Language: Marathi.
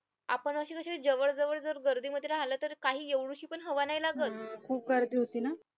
आपण असे जसे काही जवळजवळ जर गर्दीमध्ये राहिलं तर काही एवढीशी पण हवा नाही लागत